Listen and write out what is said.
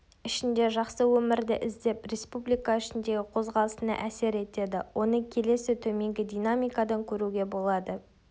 ішінде жақсы өмірді іздеп республика ішіндегі қозғалысына әсер етеді оны келесі төменгі динамикадан көруге болады